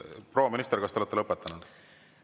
Proua minister, kas te olete lõpetanud?